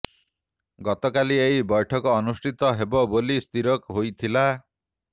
ଗତକାଲି ଏହି ବୈଠକ ଅନୁଷ୍ଠିତ ହେବ ବୋଲି ସ୍ଥିର ହୋଇଥିଲା